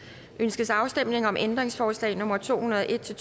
ønskes afstemning om ændringsforslag nummer to hundrede og en til